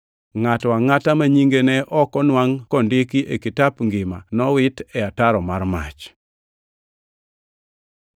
Ngʼato angʼata ma nyinge ne ok onwangʼ kondiki e kitap ngima, nowit e ataro mar mach.